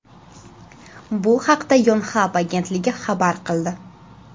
Bu haqda Yonhap agentligi xabar qildi .